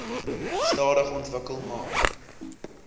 stadig ontwikkel maar